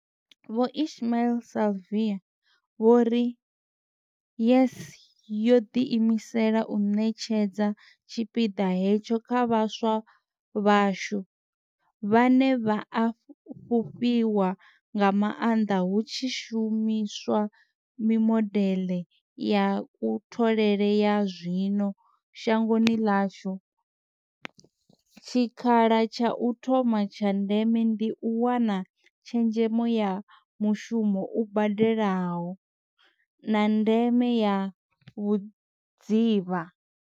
Vho Ismail-Saville vho ri, YES yo ḓiimisela u ṋetshedza tshipiḓa hetsho kha vhaswa vhashu, vhane vha a fhufhiwa nga maanḓa hu tshi shumi swa mimodeḽe ya kutholele ya zwino shangoni ḽashu, tshikha la tsha u thoma tsha ndeme ndi u wana tshezhemo ya mushumo u badelaho, na ndeme ya vhudzivha.